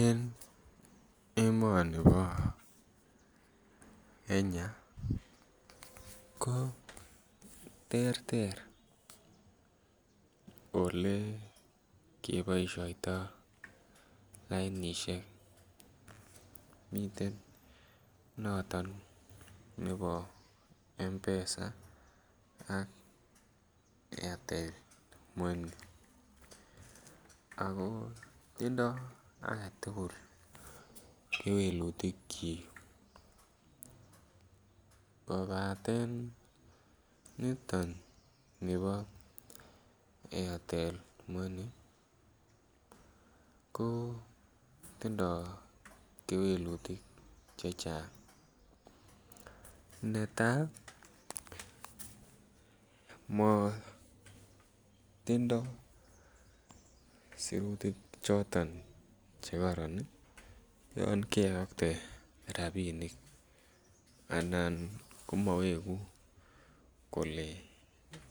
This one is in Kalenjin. En emoni bo Kenya ko terter Ole koboisioto lainisiek miten noton nebo mpesa ak airtel money ako tindo age tugul kewelutik koboto niton nibo airtel money kotindoi kewelutik Che Chang netai matindoi sirutik choton Che kororon yon keyokte rabinik komowegu kole